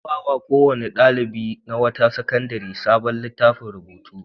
An ba wa kowane ɗalibi na wata sakandare sabon littafin rubutu.